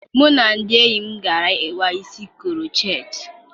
Mụ na ndị enyi m gara kpaa isi krocheetị